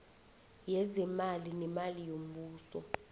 yezeemali neemali zombuso